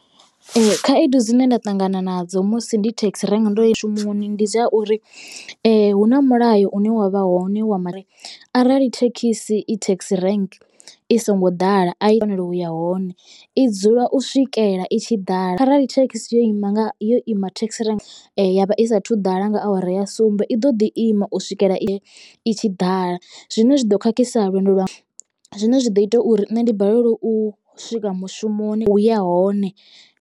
Ee Khaedu dzine nda ṱangana nadzo musi ndi taxi rank ndo shumisa ndi zwa uri eh hu na mulayo une wavha hone wa mara arali thekhisi i taxi rank i songo ḓala a i fanela uya hone i dzula u swikela i tshi ḓala. Arali thekhisi yo ima nga yo ima thekhisi riṋe ya vha i saathu ḓala nga awara ya sumbe i ḓo ḓi ima u swikela i i tshi ḓala zwine zwi do khakhisa lwendo lwa zwine zwa ḓo ita uri nṋe ndi balelwe u swika mushumoni ya hone.